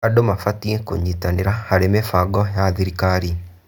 Andũ mabatiĩ kũnyitanĩra harĩ mĩbango ya thirikari.